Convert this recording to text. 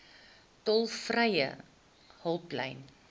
tolvrye hulplyn